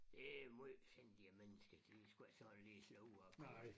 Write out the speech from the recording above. Det måj sindige mennesker de sgu ikke sådan lige at stå ud af kurs